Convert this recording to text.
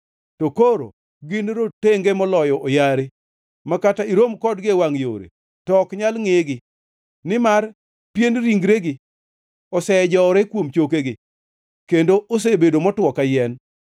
To koro gin rotenge moloyo oyare ma kata irom kodgi e wangʼ yore to ok nyal ngʼegi, nimar pien ringregi osejowore kuom chokegi; kendo osebedo motwo ka yien.